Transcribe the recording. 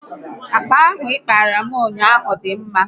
Akpa ahụ ị kpaara m ụnyaahụ dị mma